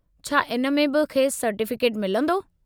छा इन में बि खेसि सर्टीफ़िकेट मिलंदो?